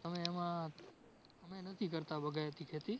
તમે એમાં, અમે નથી કરતાં બગાયતી ખેતી.